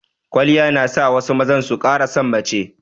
Kwaliya na sa wasu mazan su ƙara san mace